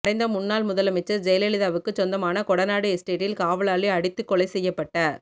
மறைந்த முன்னாள் முதல் அமைச்சர் ஜெயலலிதாவுக்குச் சொந்தமான கொடநாடு எஸ்டேட்டில் காவலாளி அடித்துக் கொலை செய்யப்பட்ட